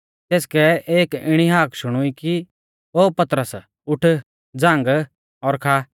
तेसकै एक इणी हाक शुणुई कि ओ पतरस उठ झ़ांग और खा